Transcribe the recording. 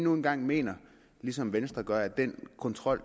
nu engang mener ligesom venstre gør at den kontrol